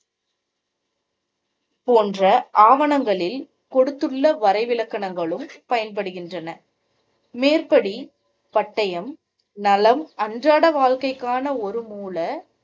போன்ற ஆவணங்களில் கொடுத்துள்ள வரைவிலக்கணங்களும் பயன்படுகின்றன. மேற்படி பட்டயம் நலம் அன்றாட வாழ்க்கைக்கான ஒரு மூல